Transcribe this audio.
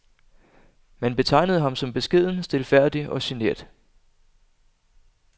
Man betegnede ham som beskeden, stilfærdig og genert.